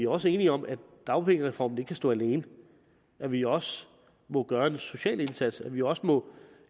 også enige om at dagpengereformen ikke kan stå alene at vi også må gøre en social indsats at vi også må